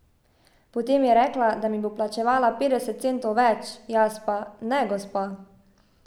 Potem je rekla, da mi bo plačevala petdeset centov več, jaz pa: 'Ne, gospa.